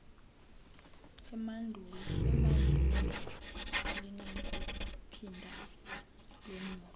emandundu alinakuphinda lonyulwe